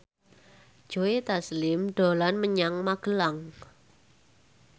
Joe Taslim dolan menyang Magelang